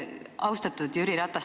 Austatud Jüri Ratas!